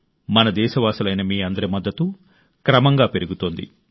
మన దేశవాసులైన మీ అందరి మద్దతు క్రమంగా పెరుగుతోంది